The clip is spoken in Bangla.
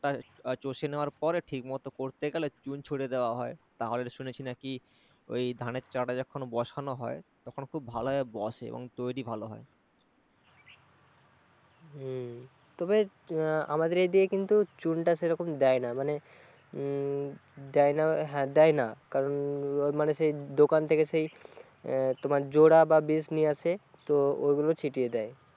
উম আমাদের এইখানে কিন্তু চুনটা সেরকম দেয় না মানে উম দেয় না, হ্যাঁ দেয় না কারণ উম মানে দোকান থেকে সেই জোড়া বা বীজ নিয়ে আসে তো ওইগুলো ছিটিয়ে দেয়